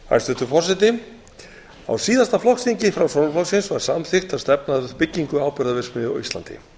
hæstvirtur forseti á síðasta flokksþingi framsóknarflokksins var samþykkt að stefna að byggingu áburðarverksmiðju á íslandi